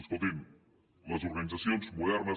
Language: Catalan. escoltin les organitzacions modernes